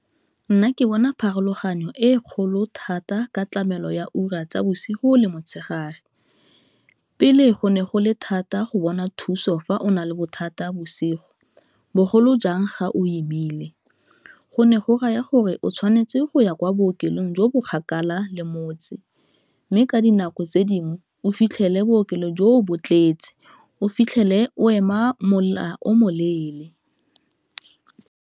Nna ke bona pharologanyo e kgolo thata ka tlamelo ya ura tsa bosigo le motshegare, pele go ne go le thata go bona thuso fa o na le bothata bosigo bogolo jang ga o imile, go ne go raya gore o tshwanetse go ya kwa bookelong jo bo kgakala le motse, mme ka dinako tse dingwe o fitlhele bookelo joo bo tletse, o fitlhele o ema mola o moleele.